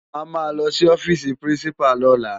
Á má lòsi òfisi pirinsipá lòlá